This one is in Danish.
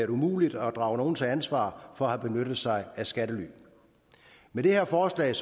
umuligt at drage nogen til ansvar for at have benyttet sig af skattely med det her forslag